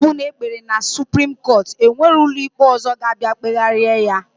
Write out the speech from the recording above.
Ikpe ọbụna ekpere na supreme court enwerọ ụlọikpe ọzọ ka abia kpeheraya.